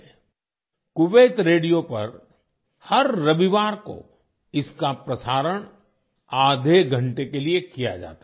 'Kuwait radio' पर हर रविवार को इसका प्रसारण आधे घंटे के लिए किया जाता है